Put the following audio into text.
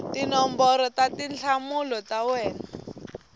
tinomboro ta tinhlamulo ta wena